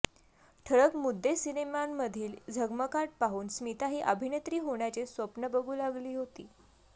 ठळक मुद्देसिनेमांमधील झगमगाट पाहून स्मिताही अभिनेत्री होण्याचे स्वप्न बघू लागली होती